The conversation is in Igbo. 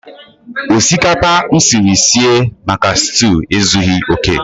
Osikapa m siri sie maka stew ezughi oke.